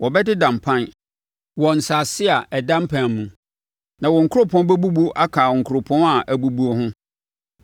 Wɔbɛdeda mpan wɔ nsase a ada mpan mu, na wɔn nkuropɔn bɛbubu aka nkuropɔn a abubu ho.